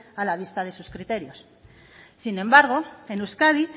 a la vista de sus criterios sin embargo en euskadi